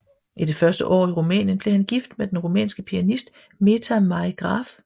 I det første år i Rumænien blev han gift med den rumænske pianist Meta May Graf